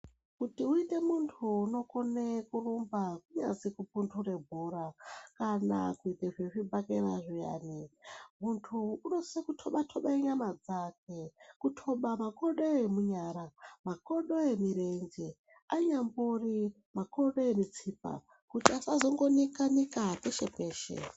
Kuti uite muntu unokone kurumba kunyazi kupunure bhora kana kuite zvezvibhakera zviyani. Muntu unosise kutoba-toba nyama dzake kutoba makodo emunyara makodo emirenje anyambori makodo emutsipa. Kuti asazongo nika-nika peshe-peshe.